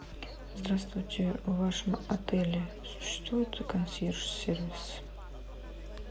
здравствуйте в вашем отеле существует консьерж сервис